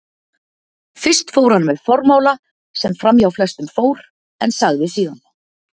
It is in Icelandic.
Fyrst fór hann með formála sem framhjá flestum fór, en sagði síðan